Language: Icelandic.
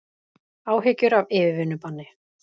Áhyggjur af yfirvinnubanni